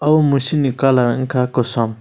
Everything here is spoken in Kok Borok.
bo musuk ni colour ungkha kosom.